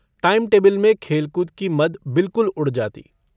Timetable में खेल-कूद की मद बिलकुल उड़ जाती।